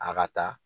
A ka ta